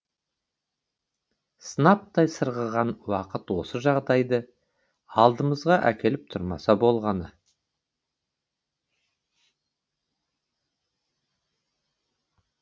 сынаптай сырғыған уақыт осы жағдайды алдымызға әкеліп тұрмаса болғаны